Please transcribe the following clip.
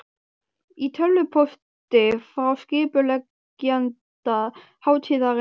Í tölvupósti frá skipuleggjanda hátíðarinnar hafði